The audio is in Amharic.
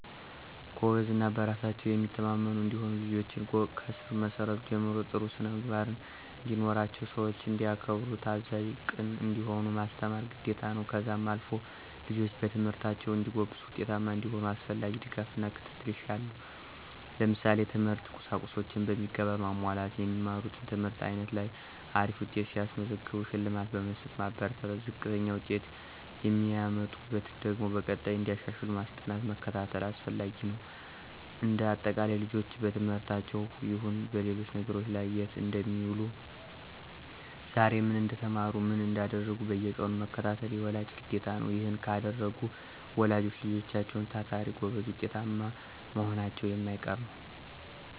ጎበዝ እና በራሳቸው የሚተማመኑ እንዲሆኑ ልጆችን ከስር መሰረቱ ጀምሮ ጥሩ ስነምግባርን እንዲኖራቸው ሰዎችን እንዲያከብሩ ታዛዥ፣ ቅን እንዲሆኑ ማስተማር ግዴታ ነው። ከዛም አልፎ ልጆች በትምህርታቸው እንዲጎብዙ ውጤታማ እንዲሆኑ አስፈላጊውን ድጋፍና ክትትል ይሻሉ። ለምሳሌ፦ የትምህርት ቁሳቁሶችን በሚገባ ማሟላት። የሚማሩት ትምህርት አይነት ላይ አሪፍ ውጤት ሲያስመዘግቡ ሽልማት በመስጠት ማበረታታት፣ ዝቅተኛ ውጤት የሚያመጡበትን ደግሞ በቀጣይ እንዲያሻሽሉ ማስጠናት መከታተል አስፈላጊ ነው። እንደ አጠቃላይ ልጆችን በትምህርታቸውም ይሁን በሌሎች ነገሮች ላይ የት እንደሚውሉ ዛሬ ምን እንደተማሩ ምን እንዳደረጉ በየቀኑ መከታተል የወላጅ ግዴታ ነው። ይሔን ካደረጉ ወላጆች ልጆችም ታታሪ፣ ጎበዝ ውጤታማ መሆናቸው የማይቀር ነው።